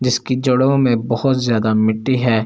जिसके जड़ो मे बहुत ज्यादा मिट्टी हैं और--